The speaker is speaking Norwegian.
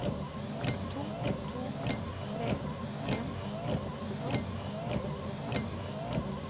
to to tre en sekstito åtte hundre og femten